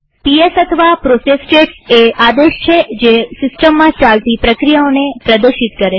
PS અથવા process status એ આદેશ છે જે સિસ્ટમમાં ચાલતી પ્રક્રિયાઓને પ્રદર્શિત કરે છે